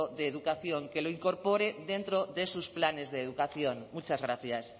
de educación que lo incorpore dentro de sus planes de educación muchas gracias